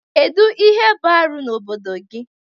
Kedu ihe bụ arụ n'obodo gị?